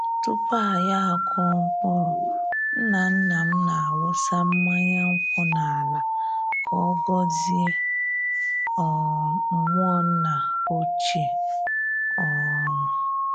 Tupu anyi akụọ mkpụrụ, nna-nna m na-awụsa mmanya nkwụ n’ala ka ọ gọzie um mmụọ nna ochie. um